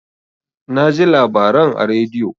Naji labaran a radio.